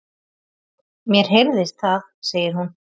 Mér heyrðist það, segir hún.